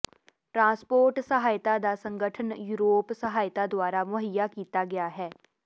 transport ਸਹਾਇਤਾ ਦਾ ਸੰਗਠਨ ਯੂਰੋਪ ਸਹਾਇਤਾ ਦੁਆਰਾ ਮੁਹੱਈਆ ਕੀਤਾ ਗਿਆ ਹੈ